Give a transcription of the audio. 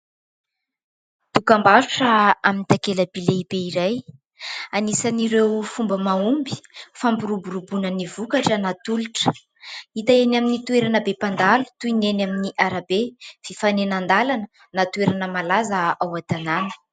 Dokam-barotra amin'ny takelaby lehibe iray. Anisan'ireo fomba mahomby fampiroboroboana ny vokatra natolotra. Hita eny amin'ny toerana be mpandalo toy ny eny amin'ny arabe fifanenan-dalana na toerana malaza ao an-tanàna.